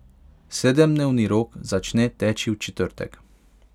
Sedemdnevni rok začne teči v četrtek.